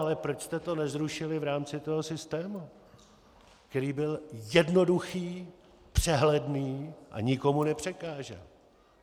Ale proč jste to nezrušili v rámci toho systému, který byl jednoduchý, přehledný a nikomu nepřekážel?